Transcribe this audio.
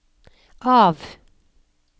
av